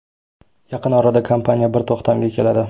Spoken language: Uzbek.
Yaqin orada kompaniya bir to‘xtamga keladi.